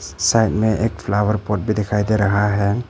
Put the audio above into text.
Side में एक flower pot भी दिखाई दे रहा है।